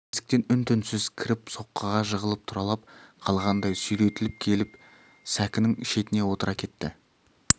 есіктен үн-түнсіз кіріп соққыға жығылып тұралап қалғандай сүйретіліп келіп сәкінің шетіне отыра кетті